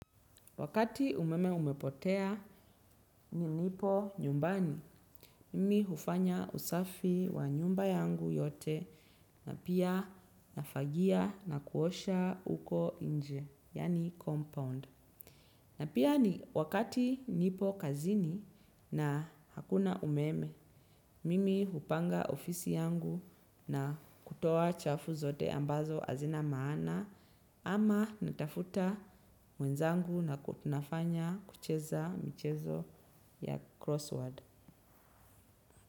Wakati umeme umepotea nilipo nyumbani, mimi hufanya usafi wa nyumba yangu yote na pia nafagia na kuosha uko nje, yani compound. Na pia ni wakati nipo kazini na hakuna umeme, mimi hupanga ofisi yangu na kutoa chafu zote ambazo hazina maana ama natafuta mwenzangu na tunafanya kucheza michezo ya crossword.